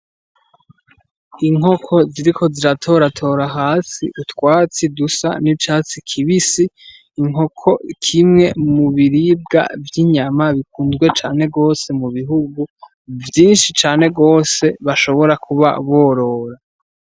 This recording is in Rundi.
Inkoko ziriko ziratoratora hasi utwatsi dusa n'icatsi kibisi, inkoko kimwe mu biribwa vy'inyama bikunzwe cane gose mu bihugu vyinshi cane gose bashobora kuba borora.